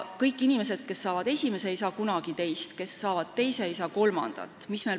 Kõik inimesed, kes saavad esimese lapse, ei saa teist, kõik, kes saavad teise lapse, ei saa kolmandat.